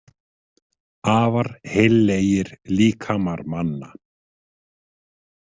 Afar heillegir líkamar manna.